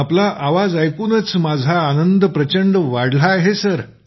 आपला आवाज ऐकूनच माझा आनंद प्रचंड वाढला आहे सर